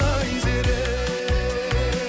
айзере